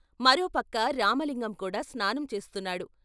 మరోపక్క రామలింగం కూడా స్నానం చేస్తున్నాడు.